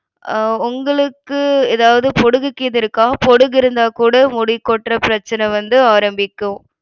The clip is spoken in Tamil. அஹ் உங்களுக்கு ஏதாவது பொடுகு கீது இருக்கா? பொடுகு இருந்தா கூட முடி கொட்ற பிரச்சனை வந்து ஆரம்பிக்கும்.